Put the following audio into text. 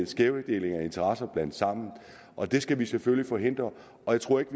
skævdelinger og interesser blandet sammen og det skal vi selvfølgelig forhindre og jeg tror ikke